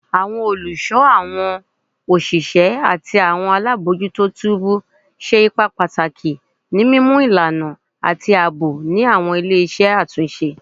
Awọn oluso, awọn oṣiṣẹ ati awọn alabojuto tubu ṣe ipa pataki ni mimu ilana ati aabo ni awọn ile-iṣẹ atunṣe